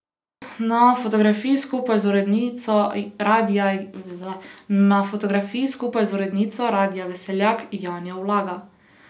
Na fotografiji skupaj z urednico Radia Veseljak, Janjo Ulaga.